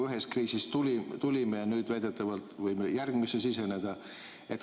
Ühest kriisist tulime ja nüüd väidetavalt võime järgmisesse siseneda.